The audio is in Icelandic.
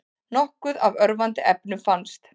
Nokkuð af örvandi efnum fannst